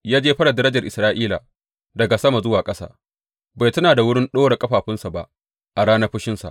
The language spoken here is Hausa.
Ya jefar da darajar Isra’ila daga sama zuwa ƙasa; bai tuna da wurin ɗora ƙafafunsa ba a ranar fushinsa.